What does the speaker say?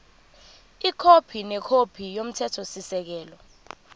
ikhophi nekhophi yomthethosisekelo